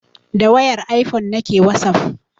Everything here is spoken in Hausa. Da wayar ifone nake wasaf